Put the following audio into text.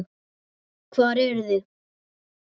Hvar eruð þið?